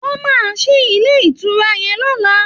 Wọn máa ṣí ilé ìtura yẹn lọ́la